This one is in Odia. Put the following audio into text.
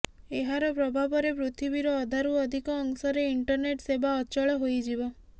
ଏହାର ପ୍ରଭାବରେ ପୃଥିବୀର ଅଧାରୁ ଅଧିକ ଅଂଶରେ ଇଣ୍ଟରନେଟ୍ ସେବା ଅଚଳ ହୋଇଯିବ